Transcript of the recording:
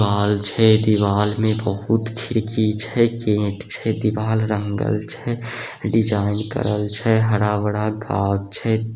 दीवाल छै दीवाल में बहुत खिड़की छै ईंट छै दीवाल रंगल छै डिज़ाइन करल छै हरा-भरा गाछ छै।